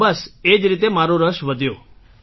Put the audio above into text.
તો બસ એ જ રીતે મારો રસ વધ્યો